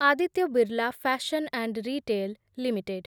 Aditya Birla Fashion and Retail limited